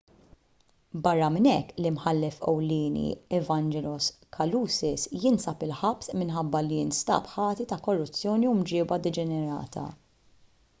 barra minn hekk l-imħallef ewlieni evangelos kalousis jinsab il-ħabs minħabba li nstab ħati ta' korruzzjoni u mġieba deġenerata